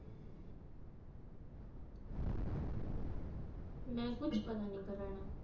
ਮੈਂ ਕੁਝ ਪਤਾ ਨਹੀਂ ਕਰਾਨਾ